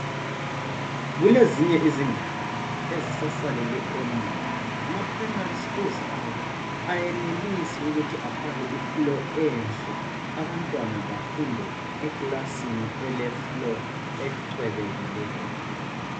Kulezinye izindawo ezisasalele emuva ama primary schools abo ayenelisi ukuthi efake ifloor enhle abantwana bafunde ekilasini ele floor ecwebekileyo.